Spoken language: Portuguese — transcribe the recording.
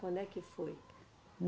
Quando é que foi?